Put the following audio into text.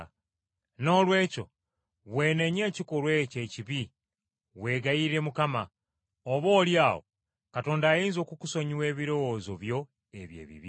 Noolwekyo weenenye ekikolwa ekyo ekibi weegayirire Mukama, oboolyawo Katonda ayinza okukusonyiwa ebirowoozo byo ebyo ebibi.